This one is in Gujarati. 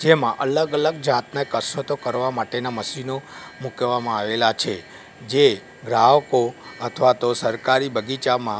જેમાં અલગ અલગ જાતનાં કાશરતો કરવા માટેના મશીનો મુકવામાં આવેલા છે જે ગ્રાહકો અથવા તો સરકારી બગીચામાં--